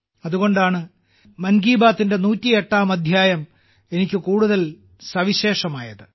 അതുകൊണ്ടാണ് മൻ കി ബാത്തിന്റെ 108ാം അദ്ധ്യായം എനിക്ക് കൂടുതൽ സവിശേഷമായത്